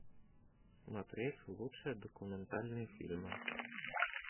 смотреть лучшие документальные фильмы